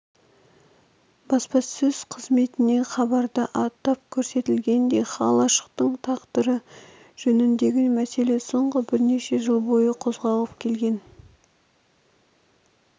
басрасөз қызметінен хабарда атап көрсетілгендей қалашықтың тағдыры жөніндегі мәселе соңғы бірнеше жыл бойы қозғалып келген